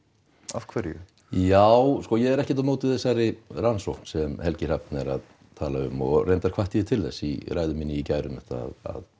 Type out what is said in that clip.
af hverju já ég er ekkert á móti þessari rannsókn sem Helgi Hrafn er að tala um og reyndar hvatti ég til þess í ræðu minni í gær um þetta